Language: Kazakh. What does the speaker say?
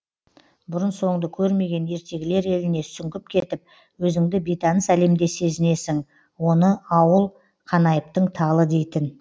бұрын соңды көрмеген ертегілер еліне сүңгіп кетіп өзіңді бейтаныс әлемде сезінесің оны ауыл қанайыптың талы дейтін